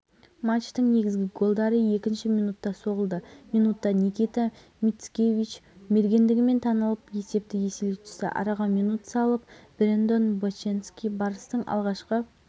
қазақстан универсиада құрамасынан карина фельзинк малика алдабергенова ажар хамимульдинова ғалия нұрғалиева бұлбул қартанбаева меруерт рыспек пернеш ашимова анастасия орлова мадина тұрсынова